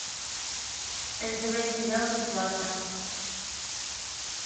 нтв сериал бесплатно